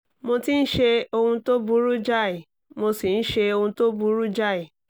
mo ti ń ṣe ohun tó burú jáì mo sì ń ṣe ohun tó burú jáì